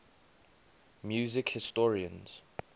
music historians